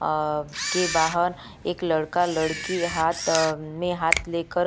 अ के बाहर एक लड़का -लड़की हाथ अ में हाथ लेकर --